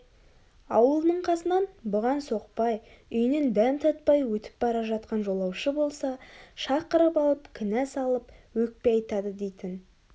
аулының қасынан бұған соқпай үйінен дәм татпай өтіп бара жатқан жолаушы болса шақырып алып кінә салып өкпе айтады дейтін